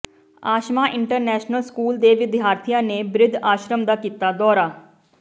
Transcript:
Ashma international school ਦੇ ਵਿਦਿਆਰਥੀਆਂ ਨੇ ਬਿਰਧ ਆਸ਼ਰਮ ਦਾ ਕੀਤਾ ਦੌਰਾ